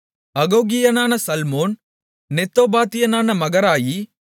அகோகியனான சல்மோன் நெத்தோபாத்தியனான மகராயி